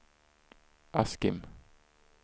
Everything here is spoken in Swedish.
Askim